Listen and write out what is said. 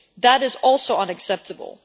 That is also unacceptable.